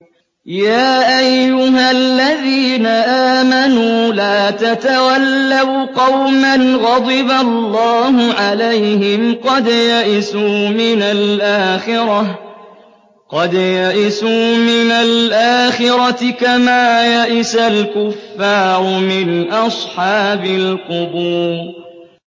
يَا أَيُّهَا الَّذِينَ آمَنُوا لَا تَتَوَلَّوْا قَوْمًا غَضِبَ اللَّهُ عَلَيْهِمْ قَدْ يَئِسُوا مِنَ الْآخِرَةِ كَمَا يَئِسَ الْكُفَّارُ مِنْ أَصْحَابِ الْقُبُورِ